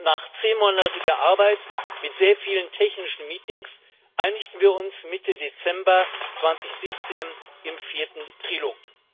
Nach zehnmonatiger Arbeit mit sehr vielen technischen Meetings einigten wir uns Mitte Dezember 2017 im vierten Trilog.